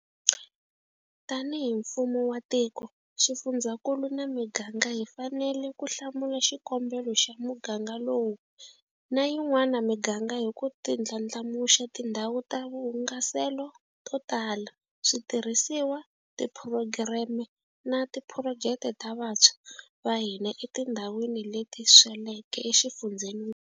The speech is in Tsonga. Tanihi mfumo wa tiko, xifundzakulu na miganga hi fanele ku hlamula xikombelo xa muganga lowu na yin'wana miganga hi ku ti ndlandlamuxa tindhawu ta vuhungaselo to tala, switirhisiwa, tiphurogireme, na tiphurojeke ta vantshwa va hina etindhawini leti sweleke exifundzeni.